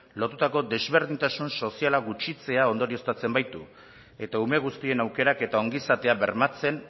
lotutako ezberdintasun sozialak gutxitzea ondorioztatzen baitu eta ume guztien aukerak eta ongizatea bermatzen